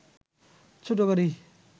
ছোট গাড়ি